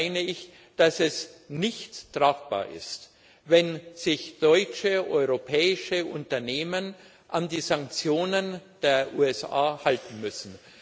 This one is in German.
Trotzdem meine ich, dass es nicht tragbar ist, wenn sich deutsche, europäische Unternehmen an die Sanktionen der USA halten müssen.